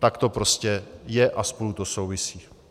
Tak to prostě je a spolu to souvisí.